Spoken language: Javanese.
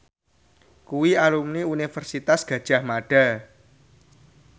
kuwi alumni Universitas Gadjah Mada